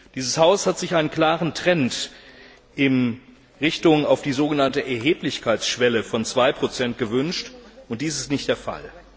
Dieses Haus hat sich einen klaren Trend in Richtung auf die sogenannte Erheblichkeitsschwelle von 2 gewünscht, und dies ist nicht der Fall.